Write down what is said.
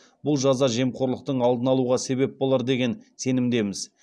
бұл жаза жемқорлықтың алдын алуға себеп болар деген сенімдеміз